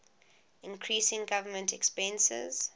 increasing government expenses